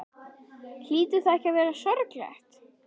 Hlýtur það ekki að vera sorglegt?